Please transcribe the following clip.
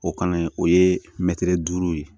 O kalan o ye mɛtiri duuru ye